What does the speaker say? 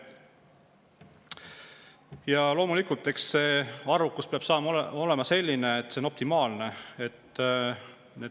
Ja loomulikult, nende arvukus peab olema optimaalne.